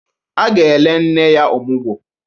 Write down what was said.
A ga-ele nne ya ọmụgọ.